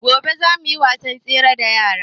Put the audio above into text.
Gobe zamu yi wasan tsere da yaran